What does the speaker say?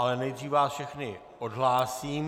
Ale nejdříve vás všechny odhlásím.